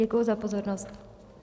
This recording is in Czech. Děkuji za pozornost.